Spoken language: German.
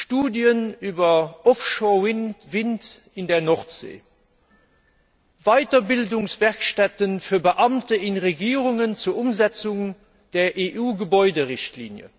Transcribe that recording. Studien über Offshore Wind in der Nordsee, Weiterbildungswerkstätten für Beamte in Regierungen zur Umsetzung der EU Gebäuderichtlinie,